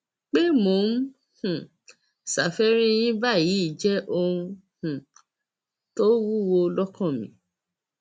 pé mò ń um ṣàfẹrí yín báyìí jẹ ohun um tó wúwo lọkàn mi